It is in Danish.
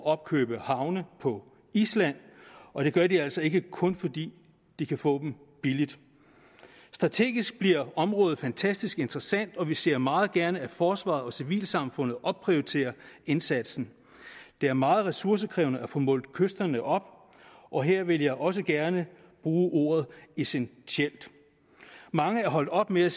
opkøbe havne på island og det gør de altså ikke kun fordi de kan få dem billigt strategisk bliver området fantastisk interessant og vi ser meget gerne at forsvaret og civilsamfundet opprioriterer indsatsen det er meget ressourcekrævende at få målt kysterne op og her vil jeg også gerne bruge ordet essentielt mange er holdt op med at